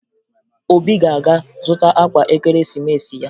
Obi ga-aga zụta akwa Ekeresimeesi ya